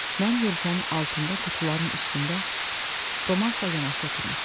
Mən yelkənin altında qutuların üstündə Romazla yanaşı oturmuşdum.